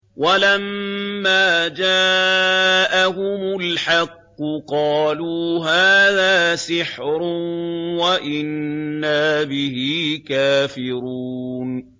وَلَمَّا جَاءَهُمُ الْحَقُّ قَالُوا هَٰذَا سِحْرٌ وَإِنَّا بِهِ كَافِرُونَ